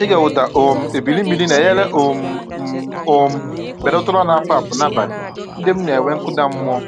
Ịge ụda um ebili mmiri na-enyere um m um belata ụra na-apụ apụ n’abalị ndị m na-enwe nkụda.